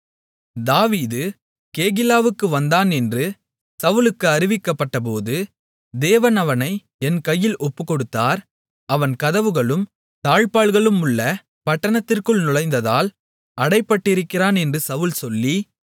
தாவீது கேகிலாவுக்கு வந்தான் என்று சவுலுக்கு அறிவிக்கப்பட்டபோது தேவன் அவனை என் கையில் ஒப்புக்கொடுத்தார் அவன் கதவுகளும் தாழ்ப்பாள்களுமுள்ள பட்டணத்திற்குள் நுழைந்ததால் அடைபட்டிருக்கிறான் என்று சவுல் சொல்லி